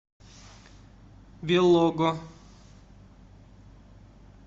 белого